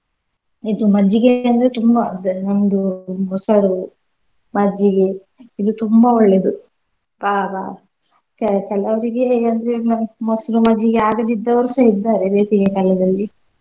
ಇದು ಮಜ್ಜಿಗೆ ಅಂದ್ರೆ ತುಂಬಾ ಅದ್ ಇನ್ನೊಂದು ಮೊಸ್ರು, ಮಜ್ಜಿಗೆ ಇದು ತುಂಬಾ ಒಳ್ಳೇದು ಕೆ~ ಕೆಲವರಿಗೆ ಅಂದ್ರೆ ಇನ್ನೂ ಮೊಸ್ರು ಮಜ್ಜಿಗೆ ಆಗದಿದ್ದೋರ್ಸ ಇದ್ದಾರೆ ಬೇಸಿಗೆ ಕಾಲದಲ್ಲಿ.